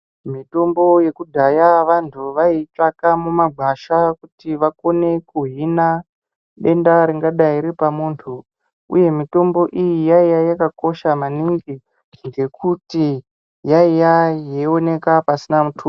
Mitombo yekudhaya vantu vaiitsvaka mumagwasha kuti vakone kuhina denda ringadai riripamuntu, uye mitombo iyi yaiya yakakosha maningi ngekuti yaiya yeioneka pasina muthuso.